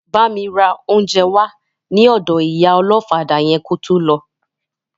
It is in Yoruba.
Bámi ra oúnjẹ wá ní ọ̀dọ ìyá ọlọ́fadà yẹn kó tó lọ